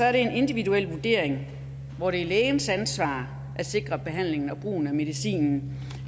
er det en individuel vurdering hvor det er lægens ansvar at sikre at behandlingen og brugen af medicinen